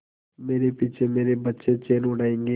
मेरे पीछे मेरे बच्चे चैन उड़ायेंगे